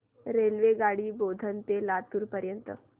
रेल्वेगाडी बोधन ते लातूर पर्यंत